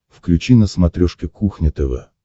включи на смотрешке кухня тв